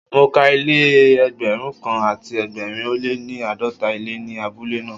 Mo ka ilé Ẹgbẹ̀rún kan àti ẹgbẹ̀rin ó lé ní àádọ́ta ilé ní abúlé náà.